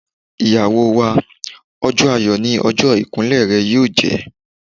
Ìyàwó wa, ọjọ́ ayọ̀ ni ọjọ́ ìkún lẹ̀ rẹ yóò jẹ́.